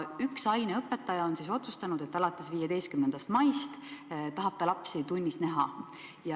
Üks aineõpetaja on seal otsustanud, et alates 15. maist tahab ta lapsi tunnis näha.